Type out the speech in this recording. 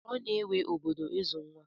Ọ na-ewe obodo ịzụ nwa.